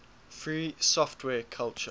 free software culture